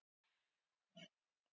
Og við skulum sjá.